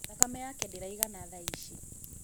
thakame yake ndĩraigana thaici